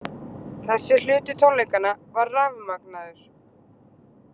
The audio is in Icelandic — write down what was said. Þessi hluti tónleikanna var rafmagnaður.